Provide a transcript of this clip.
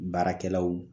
Baarakɛlaw